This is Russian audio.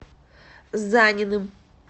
заниным